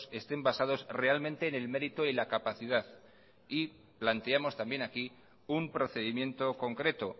estén basados realmente en el mérito y la capacidad y planteamos también aquí un procedimiento concreto